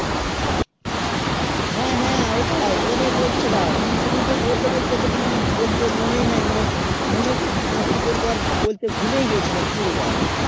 হেঁ হেঁ ওটাই ওটাই বলছিলাম সে দিন কে মানে সে দিন কে বলতে বলতে তোকে মানে বলতে মনে এ নেই মানে মনে পড়ছে মানে কি বলবো আর বলতে ভুলে ই গেছিলাম পুরো তাই